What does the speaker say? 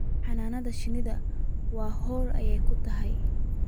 Xannaanada shinnidu waa hawl ay tahay